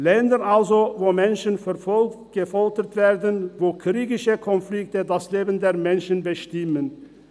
Länder also, wo Menschen verfolgt, gefoltert werden, wo kriegerische Konflikte das Leben der Menschen bestimmen.